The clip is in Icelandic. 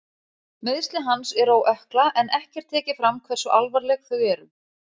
Meiðsli hans eru á ökkla en ekki er tekið fram hversu alvarleg þau eru.